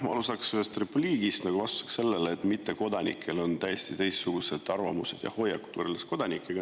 Ma alustan repliigiga vastuseks sellele, nagu mittekodanikel oleks täiesti teistsugused arvamused ja hoiakud võrreldes kodanikega.